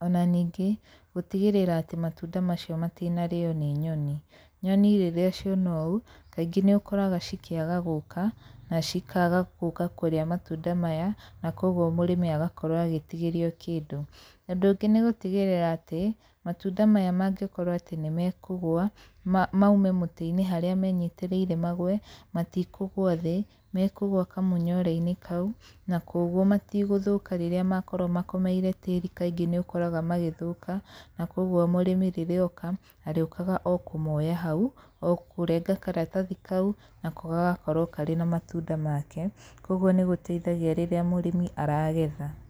Ona ningĩ, gũtigĩrĩra atĩ matunda macio matinarĩo nĩ nyoni. Nyoni rĩrĩa ciona ũũ, kaingĩ nĩ ũkoraga cikĩaga gũka, na cikaga gũka kũrĩa matunda maya, na kũguo mũrĩmi agakorwo agĩtigĩrio kĩndũ. Ũndũ ũngĩ nĩ gũtigĩrĩra atĩ, matunda maya mangĩkorwo atĩ nĩ mekũgũa, maume mũtĩ-inĩ harĩa menyitĩrĩire magũe, matikũgũa thĩ, mekũgũa kamũnyore-inĩ kau, na kũguo matigũthũka rĩrĩa makorwo makomeire tĩri kaingĩ nĩ ũkoraga magĩthũka, na kũguo mũrĩmi rĩrĩa oka, arĩũkaga o kũmoya hau o kũrenga karatathi kau, nako gagakorwo karĩ na matunda make. Koguo nĩ gũteithagia rĩrĩa mũrĩmi aragetha.